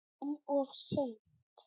En of seint.